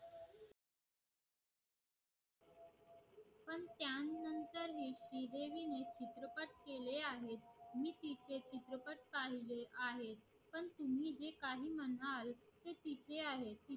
ते तिचे आहे but कायदे आहे